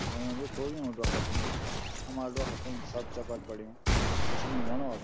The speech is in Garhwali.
होयुं भी खूब योंका डोखरा फुनु हमारा डोखरा फूंड सब चपट पडयुं कुछ नी होणु अब।